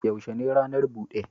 Yaushe ranar bude?